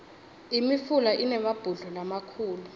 imifula inemabhudlo lamakhulu